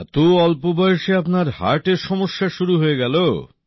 এত অল্প বয়সে আপনার হার্টের সমস্যা শুরু হয়ে গেল